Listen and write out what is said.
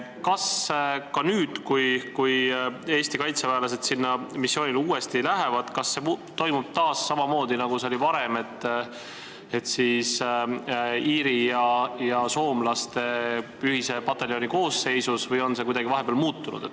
Kas nüüd, kui Eesti kaitseväelased sinna missioonile uuesti lähevad, see toimub samamoodi nagu varem iirlaste ja soomlaste ühise pataljoni koosseisus või on see vahepeal kuidagi muutunud?